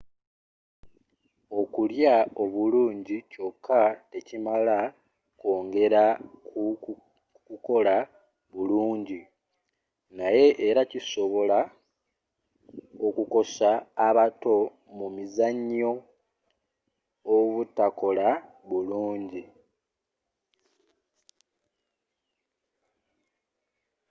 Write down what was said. okulya obulungi kyoka tekimala kwongera ku kukola bulungi naye era kisobola okukosa abato mu mizzanyo obutakola bulungi